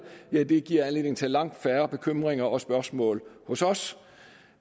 ja det giver anledning til langt færre bekymringer og spørgsmål hos os